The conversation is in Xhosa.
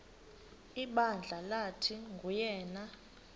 ibandla lathi nguyena